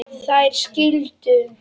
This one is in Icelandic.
Þær skildu.